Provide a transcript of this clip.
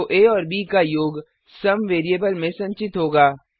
तो आ और ब का योग सुम वेरिएबल में संचित होगा